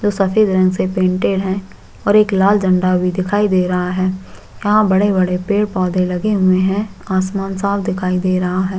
जो सफ़ेद रंग से पेंटेड है और एक लाल झंडा भी लगा है यहाँ बड़े - बड़े पेड़ - पौधे भी लगे हुए है आसमान साफ़ दिखाई दे रहा है।